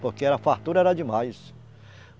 Porque era a fartura era demais.